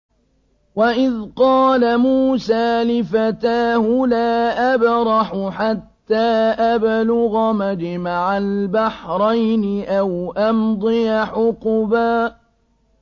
وَإِذْ قَالَ مُوسَىٰ لِفَتَاهُ لَا أَبْرَحُ حَتَّىٰ أَبْلُغَ مَجْمَعَ الْبَحْرَيْنِ أَوْ أَمْضِيَ حُقُبًا